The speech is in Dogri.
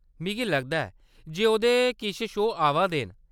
मिगी लगदा ऐ जे ओह्‌‌‌दे किश शो आवा दे न।